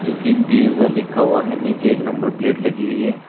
जो कि वीजा लिखा हुआ है नीचे एक नंबर प्लेट लगी हुई है।